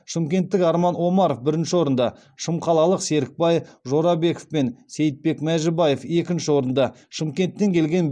шымкенттік арман омаров бірінші орынды шымқалалық серікбай жорабеков пен сейітбек мәжібаев екінші орынды шымкенттен келген